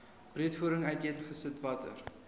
breedvoerig uiteengesit watter